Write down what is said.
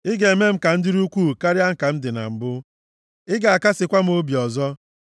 Ị ga-eme m ka m dịrị ukwuu karịa ka m dị na mbụ. Ị ga-akasịkwa m obi ọzọ.